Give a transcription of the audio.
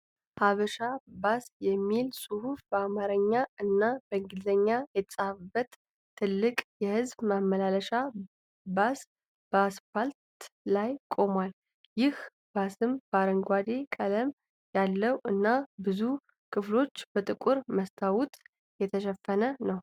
"ሃበሻ ባስ" የሚል ጽሁፍ በአማረኛ እና በእንግሊዘኛ የተጻፈበት ትልቅ የህዝብ ማመላለሻ ባስ በአስፓልት ላይ ቆሟል። ይህ ባስም አረንጓዴ ቀለም ያለው እና ብዙ ክፍሎቹ በጥቁር መስታወት የተሸፈነ ነው።